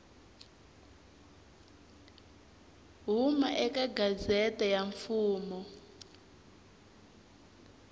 huma eka gazette ya mfumo